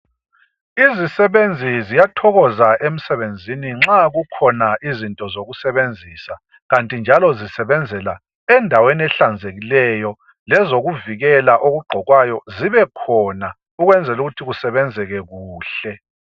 izisebenzi ziyathokoza emsebenzini nxa kukhona izinto zokusebenzisa kanti njalo zisebenzela endaweni ehlanzekileyo lezokuvikelwa okugqokwayo zibekhona ukwenzela ukuthi kusebenzeke kuhle